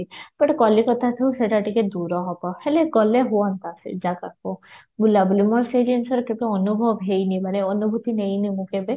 କାଳିକତାଠୁ ସେଟା ଟିକେ ଦୁର ହବ ହେଲେ ଗଲେ ହୁଆନ୍ତା ସେଇ ଜାଗାକୁ ବୁଲା ବୁଲି ମତେ ସେଇ ଜିନିଷରେ କେବେ ଅନୁଭବ ହେଇନି ମାନେ ଅନୁଭୂତି ନେଇନି ମୁଁ କେବେ